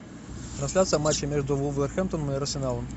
трансляция матча между вулверхэмптоном и арсеналом